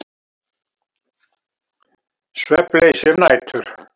Svefnleysi um nætur.